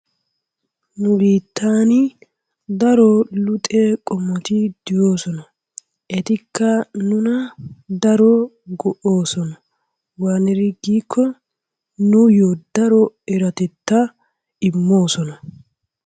Nu biittan daro luxe qommoti de'oosona. Etikka nuna daro go'oosona. Waaniri giikko nuyyoo daro eratettaa immoosona.